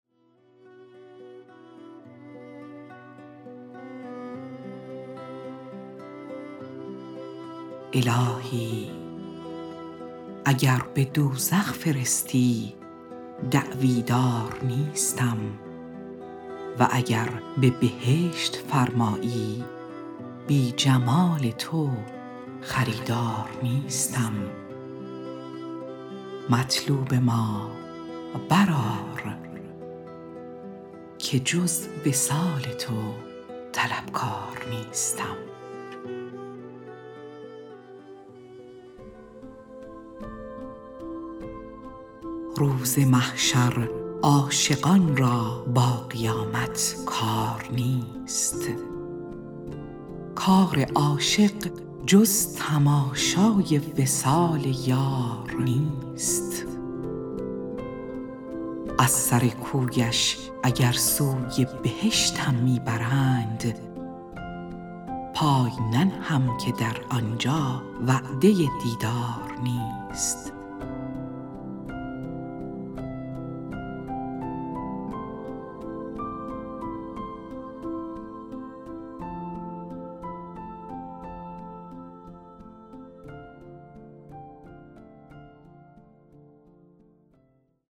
الهی اگر بدوزخ فرستی دعوی دار نیستم و اگر به بهشت فرمایی بی جمال تو خریدار نیستم مطلوب ما بر آر که جز وصال تو طلبکار نیستم روز محشر عاشقان را با قیامت کار نیست کار عاشق جز تماشای و صال یار نیست از سر کویش اگر سوی بهشتم می برند پای ننهم که در آنجا وعده دیدار نیست